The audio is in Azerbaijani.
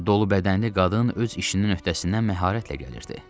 Dolu bədənli qadın öz işinin öhdəsindən məharətlə gəlirdi.